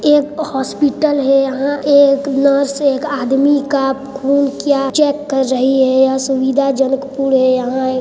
एक हॉस्पिटल है यहाँ एक नर्स एक आदमी का खून चेक कर रही है यहाँ सुविधाजनक पूर्ण है यहाँ ए--